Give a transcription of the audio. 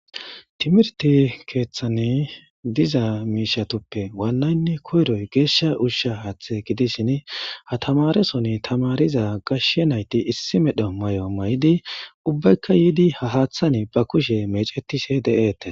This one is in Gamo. Timirte keeththan diza mishatuppe wananne koyiroy gesha usha haththa gidishin ha tamaresoni tamariza gashe nayiti issi medho mayo mayidi ubbayika yidi ha haththani ba kushshiya meccetishe detes.